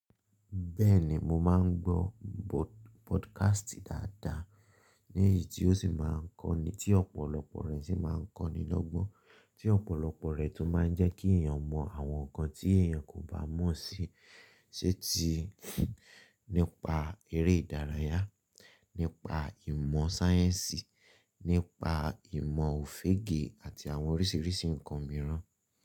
Bẹ́ẹ̀ni, mo máa ń gbọ́ pọdcast dáadáa, ní èyí tí ó sì máa ń kọ́ ni tí ọ̀pọ̀lọpọ̀ rẹ̀ sì máa ń kọ́ni lọ́gbọ́n, tí ọ̀pọ̀lọpọ̀ rẹ̀ tún máa ń jẹ́ kí èèyàn mọ àwọn nǹkan tí èèyàn kò bá mọ̀ sí, sé ti nípa eré ìdárayá, nípa ìmọ̀ sáyẹ́ǹsì, nípa ìmọ̀ òfége àti àwọn oríṣiríṣi nǹkan mìíràn.